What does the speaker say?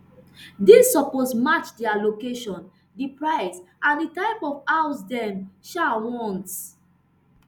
dis suppose match dia location di price and di type of house dem um want